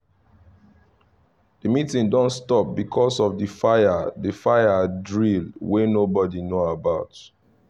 the meeeting don stop because of the fire the fire drill wey nobody know about